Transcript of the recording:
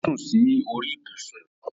O sún sí orí ibùsùn